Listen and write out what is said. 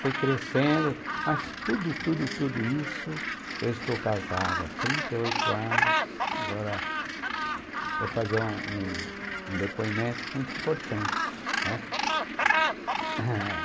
foi crescendo, mas tudo, tudo, tudo isso, eu estou casado há trinta e oito anos, agora vou fazer um um um depoimento muito importante, né?